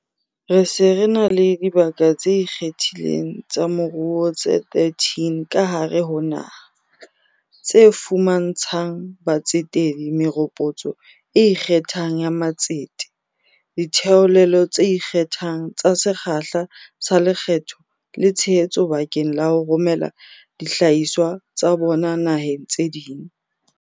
Re se re na le dibaka tse ikgethileng tsa moruo tse 13 ka hare ho naha, tse fuma ntshang batsetedi meropotso e ikgethang ya matsete, ditheolelo tse ikgethang tsa sekgahla sa lekgetho le tshe hetso bakeng la ho romela dihlahiswa tsa bona naheng tse ding.